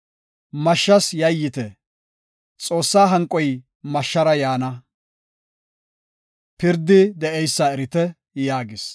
Mashshas yayyite! Xoossa hanqoy mashshara yaana; pirdi de7eysa erite” yaagis.